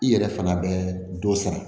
I yɛrɛ fana bɛ dɔ sara